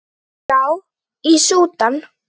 Já, í Súdan.